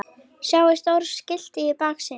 Sjáið stóra skiltið í baksýn.